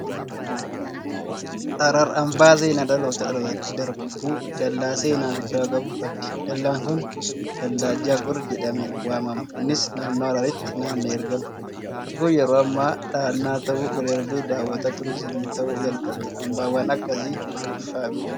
Harar hambaa seenaa dhalootaa dhalootatti darbu dallaa seenaa guddaa qabu qabdi. Dallaan kun dallaa Jaagol jedhamee waamama. Innis naannoo Hararitti naanna'ee argama. Bakki kun yeroo ammaa dahannaa ta'uu bira darbee hawwata Turiizimii ta'uu jalqabeera. Hambaawwan akkasii maalfa'aa beektu?